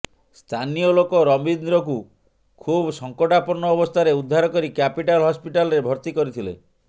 ସ୍ଥାନୀୟ ଲୋକ ରବୀନ୍ଦ୍ରଙ୍କୁ ଖୁବ୍ ସଂକଟାପନ୍ନ ଅବସ୍ଥାରେ ଉଦ୍ଧାର କରି କ୍ୟାପିଟାଲ ହସ୍ପିଟାଲରେ ଭର୍ତି କରିଥିଲେ